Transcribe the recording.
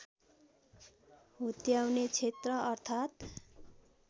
हुत्याउने क्षेत्र अर्थात्